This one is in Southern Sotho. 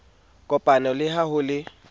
kopano le ha ho le